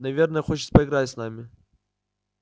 наверное хочет поиграть с нами